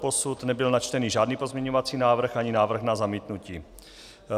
Doposud nebyl načten žádný pozměňovací návrh ani návrh na zamítnutí.